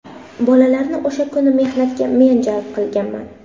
Bolalarni o‘sha kuni mehnatga men jalb qilganman.